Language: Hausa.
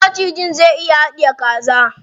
Wani macijin zai iya haɗiye kaza.